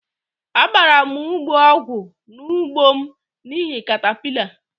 Agbara' m ugbo ọgwụ n' ugbo m n'ihi catapillar